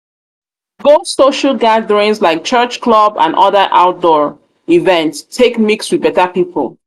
go social gatherings like church club and other outdoor events take mix with better pipo